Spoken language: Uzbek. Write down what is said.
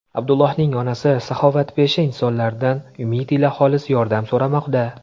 Abdullohning onasi saxovatpesha insonlardan umid ila xolis yordam so‘ramoqda.